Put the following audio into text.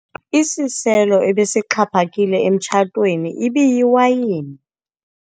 Isiselo ebesixhaphakile emtshatweni ibiyiwayini.